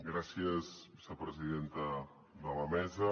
gràcies vicepresidenta de la mesa